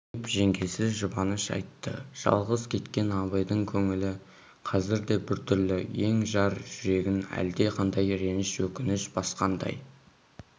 деп жеңгесі жұбаныш айтты жалғыз кеткен абайдың көңілі қазірде біртүрлі ен-жар жүрегін әлде қандай реніш өкініш басқандай